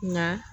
Nka